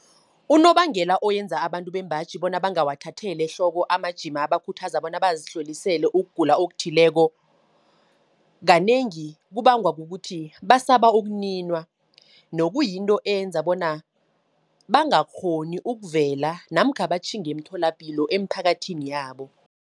Unobangela oyenza abantu bembaji bona, bangawathatheli ehloko amajima abakhuthaza, bona bazihlolisele ukugula okuthileko. Kanengi kubangwa kukuthi, basaba ukuninwa, nokuyinto eyenza bona bangakghoni ukuvela, namkha batjhinge emtholapilo emphakathini yabo.